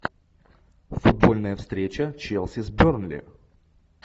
футбольная встреча челси с бернли